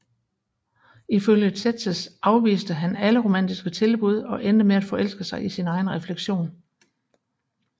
Ifølge Tzetzes afviste han alle romantiske tilbud og endte med at forelske sig i sin egen refleksion